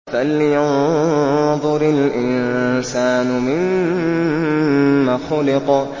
فَلْيَنظُرِ الْإِنسَانُ مِمَّ خُلِقَ